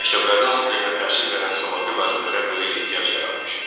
Məktəblərdə ana dilində təhsil verən savadlı müəllimlərə böyük ehtiyac yaranmışdı.